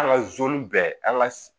An ka bɛɛ an ka